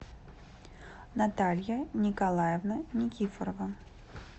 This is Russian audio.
наталья николаевна никифорова